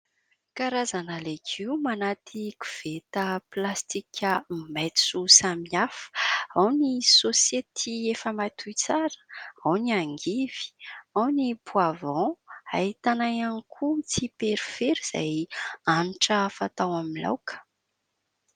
Karazana legioma anaty koveta pilasitika maitso samihafa. Ao ny saosety efa matoy tsara, ao ny angivy, ao ny "poivron". Ahitana ihany koa tsiperifery izay hanitra fatao amin'ny laoka.